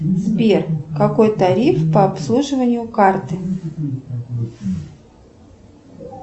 сбер какой тариф по обслуживанию карты